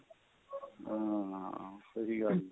ਹਾਂ ਸਹੀ ਗੱਲ ਏ